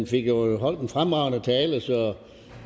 fik jo holdt en fremragende tale